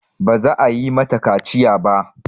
Ba za a yi mata kaciya ba.